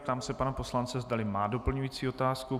Ptám se pana poslance, zdali má doplňující otázku.